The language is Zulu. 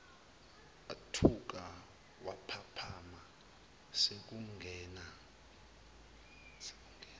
wathuka waphaphama sekungena